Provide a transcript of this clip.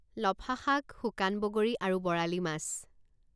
লফা শাক শুকান বগৰী আৰু বৰালি মাছ